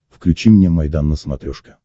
включи мне майдан на смотрешке